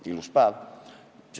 Oli ilus päev.